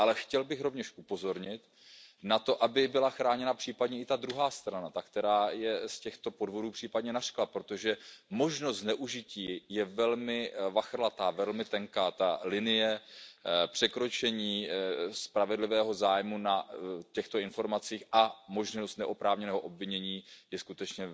Chtěl bych rovněž upozornit na to, aby byla chráněna případně i ta druhá strana, ta, která je z těchto podvodů případně obviněná, protože možnost zneužití je velmi vachrlatá, velmi tenká. Ta linie překročení spravedlivého zájmu na těchto informacích a možnost neoprávněného obvinění je skutečně